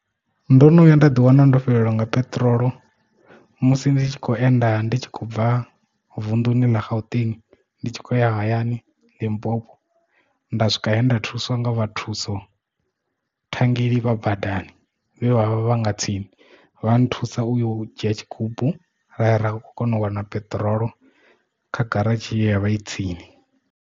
Ndo no vhuya nda ḓi wana ndo fhelelwa nga peṱirolo musi ndi tshi kho enda ndi tshi khou bva vunḓuni ḽa gauteng ndi tshi khou ya hayani Limpopo nda swika hayani nda thuswa nga vhathu thuso thangeli vha badani vhavha nga tsini vha nthusa u yo u dzhia tshigubu raya ra kona u wana peṱirolo kha garatshi ya vha i tsini.